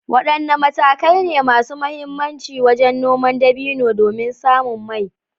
Wadanne matakai ne masu muhimmanci wajen noman dabino domin samun mai?